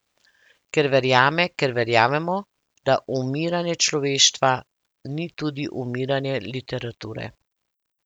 Ker verjame, ker verjamemo, da umiranje človeštva ni tudi umiranje literature.